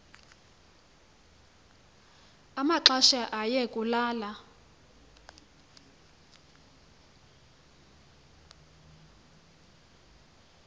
amaxesha aye kulala